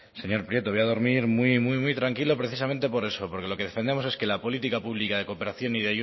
prieto voy a dormir muy tranquilo precisamente por eso porque lo que defendemos es que la política pública de cooperación y